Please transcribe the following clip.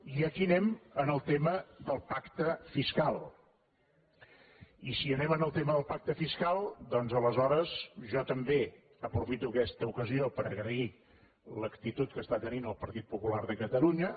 i aquí anem al tema del pacte fiscal i si anem al tema del pacte fiscal doncs aleshores jo també aprofito aquesta ocasió per agrair l’actitud que està tenint el partit popular de catalunya